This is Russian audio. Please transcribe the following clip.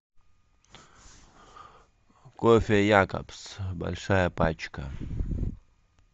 кофе якобс большая пачка